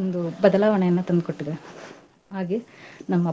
ಒಂದು ಬದಲಾವಣೆಯನ್ನ ತಂದ್ ಕೊಟ್ಟಿದೆ. ಹಾಗೆ ನಮ್ ಅಪ್ಪಾ.